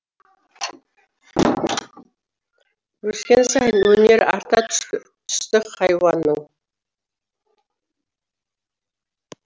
өскен сайын өнері арта түсті хайуанның